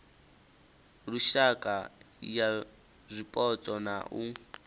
lushaka ya zwipotso na u